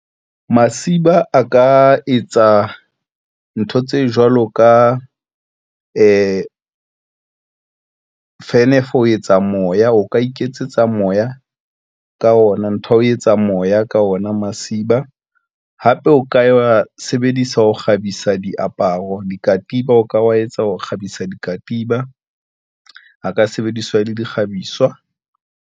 Masiba a ka etsa ntho tse jwalo ka fan for ho etsa moya o ka iketsetsa moya ka ona ntho ya ho etsa moya ka ona masiba hape o ka wa sebedisa ho kgabisa diaparo, dikatiba o ka wa etsa ho kgabisa dikatiba a ka sebediswa le di kgabiswa.